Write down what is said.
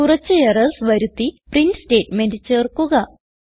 കുറച്ച് എറർസ് വരുത്തി print statement ചേർക്കുക